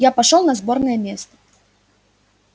я пошёл на сборное место